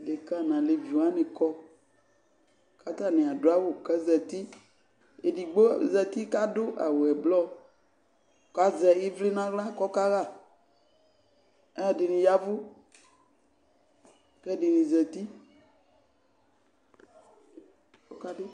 Dekǝ nʋ alevi wanɩ kɔ kʋ atanɩ adʋ awʋ kʋ azati Edigbo zati kʋ adʋ awʋ ɛblɔ kʋ azɛ ɩvlɩ nʋ aɣla kʋ ɔkaɣa Alʋɛdɩnɩ ya ɛvʋ kʋ ɛdɩnɩ zati